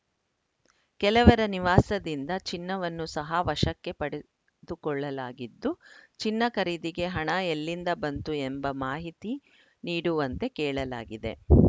ಕೆಲವರ ನಿವಾಸದಿಂದ ಚಿನ್ನವನ್ನು ಸಹ ವಶಕ್ಕೆ ಪಡೆದುಕೊಳ್ಳಲಾಗಿದ್ದು ಚಿನ್ನ ಖರೀದಿಗೆ ಹಣ ಎಲ್ಲಿಂದ ಬಂತು ಎಂಬ ಮಾಹಿತಿ ನೀಡುವಂತೆ ಕೇಳಲಾಗಿದೆ